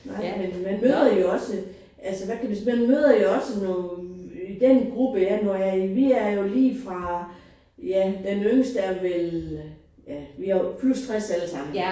Nej men man møder jo også altså hvad kan vi man møder jo også nogen den gruppe jeg når jeg er i vi er jo lige fra ja den yngste er vel ja vi er plus 60 alle sammen